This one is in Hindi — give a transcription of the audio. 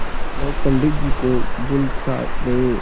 लोग पंडित जी को भूल सा गये